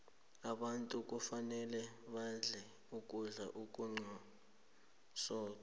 abantu kufanele badle ukudla okunomsoqo